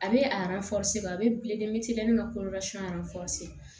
A bɛ a bɛ